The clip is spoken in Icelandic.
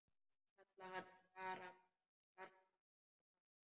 Kalla hann Skarpa og gamla!